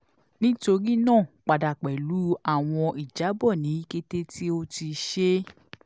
nitorinaa pada pẹlu awọn ijabọ ni kete ti o ti ṣe